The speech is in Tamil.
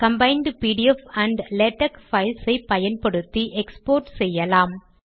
combined PDF and LaTeX files ஐ பயன்படுத்தி எக்ஸ்போர்ட் செய்யலாம்